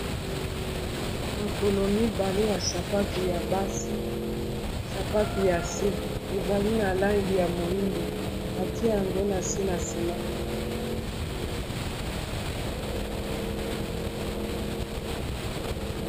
Makolo mibale ya sapatu ya basi, sapatu ya se ezali na langi ya moyindo batie yango na se na nsima.